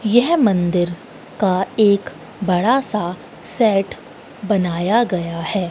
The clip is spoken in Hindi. यह मंदिर का एक बड़ा सा सेट बनाया गया है।